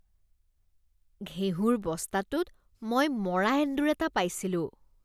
ঘেঁহুৰ বস্তাটোত মই মৰা এন্দুৰ এটা পাইছিলোঁ।